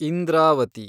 Indravati